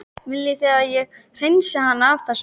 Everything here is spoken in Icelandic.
Viljið þið að ég hreinsið hana af þessu?